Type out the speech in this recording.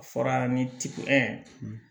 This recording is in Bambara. A fɔra ni ci